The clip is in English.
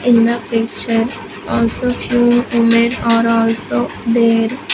in the picture also few women are also there.